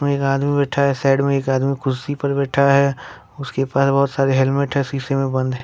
एक आदमी बैठा है साइड में एक आदमी कुर्सी पर बैठा है उसके पास बहुत सारे हेलमेट है शीशे में बंद हैं।